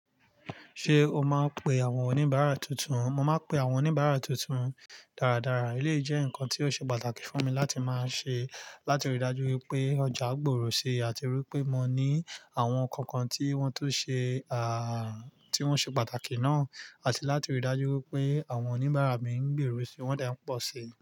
Ṣé o máa ń pe àwọn oníbàárà tuntun? Mo máa ń pe àwọn oníbàárà tuntun dáradára. Eleyii jẹ́ nǹkan tí ó ṣe pàtàkì fún mi láti máa ṣe láti rí i dájú wípé ọjà gbòòrò ṣi àti ríi pé mọ ní àwọn ǹkan kan tí wọ́n tó ṣe, à tí wọ́n ṣe pàtàkì náà àti láti rí i dájú wípé àwọn oníbàárà mi ń gbèru si wọ́n de n pọ̀ si.